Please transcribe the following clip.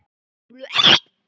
Mér finnst hún mjög lítil.